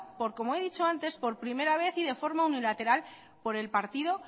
por como he dicho antes por primera vez y de forma unilateral por el partido